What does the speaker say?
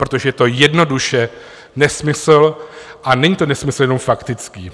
Protože je to jednoduše nesmysl, a není to nesmysl jenom faktický.